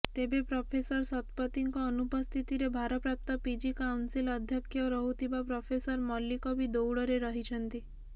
ତେବେ ପ୍ରଫେସର ଶତପଥୀଙ୍କ ଅନୁପସ୍ଥିତିରେ ଭାରପ୍ରାପ୍ତ ପିଜି କାଉନସିଲ୍ ଅଧ୍ୟକ୍ଷ ରହୁଥିବା ପ୍ରଫେସର ମଲ୍ଲିକ ବି ଦୌଡ଼ରେ ରହିଛନ୍ତି